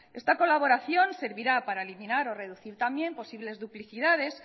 esta colaboración servirá para eliminar o reducir también posibles duplicidades